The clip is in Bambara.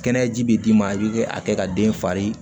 Kɛnɛyaji bɛ d'i ma i bɛ a kɛ ka den fari